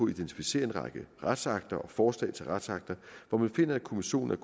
identificere en række retsakter og forslag til retsakter hvor man finder at kommissionen er